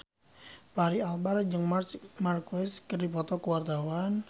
Fachri Albar jeung Marc Marquez keur dipoto ku wartawan